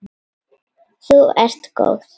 Þú ert góð!